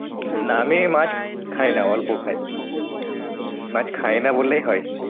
না আমি মাছ খাই না অল্প খাই। মাছ খাই না বললেই হয়।